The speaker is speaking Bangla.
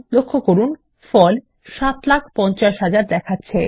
লক্ষ্য করুন ফল ৭৫০০০০ দেখাচ্ছে